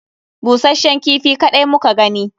Busashshen kifi kaɗai muka gani